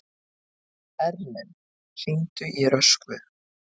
Erlen, hringdu í Röskvu.